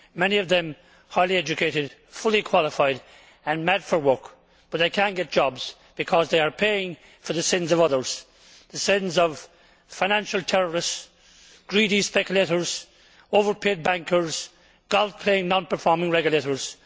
Many of them are highly educated, fully qualified and mad for work, but they cannot get jobs because they are paying for the sins of others the sins of financial terrorists, greedy speculators, overpaid bankers, golf playing non performing regulators.